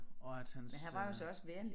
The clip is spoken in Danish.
Og at hans øh